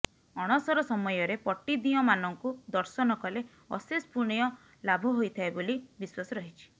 ଅଣସର ସମୟରେ ପଟ୍ଟିଦିଅଁମାନଙ୍କୁ ଦର୍ଶନ କଲେ ଅଶେଷ ପୁଣ୍ୟ ଲାଭ ହୋଇଥାଏ ବୋଲି ବିଶ୍ୱାସ ରହିଛି